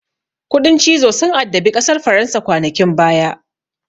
Kuɗin cizo sun addabi ƙasar faransa kwanakin baya.